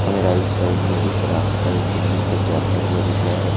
हमें right side में एक रास्ता इस बिल्डिंग तक जाता हुआ दिख रहा है।